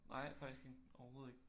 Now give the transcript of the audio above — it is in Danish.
Nej faktisk ikke overhovedet ikke